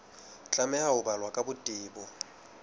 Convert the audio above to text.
tlameha ho balwa ka botebo